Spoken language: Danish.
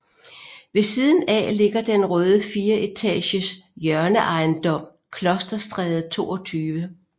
Ved siden af ligger den røde fireetages hjørneejendom Klosterstræde 22